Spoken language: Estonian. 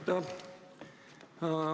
Aitäh!